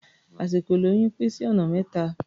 Àsìkò ìlóyún pín sí ọ̀nà mẹ́ta.